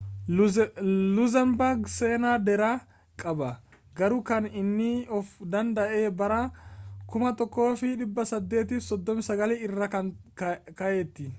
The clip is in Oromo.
luxembourg seenaa dheeraa qaba ,garuu kan inni of-danda’e bara 1839 irraa ka’eetu